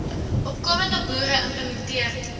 opkomende boere implementering